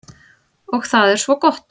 Og það er svo gott.